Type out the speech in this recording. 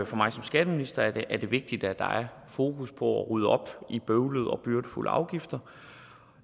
for mig som skatteminister er det vigtigt at der er fokus på at rydde op i bøvlede og byrdefulde afgifter